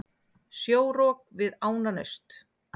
Sjórok við Ánanaust